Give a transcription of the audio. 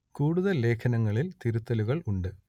കൂടുതൽ ലേഖനങ്ങളിൽ തിരുത്തലുകൾ ഉണ്ട്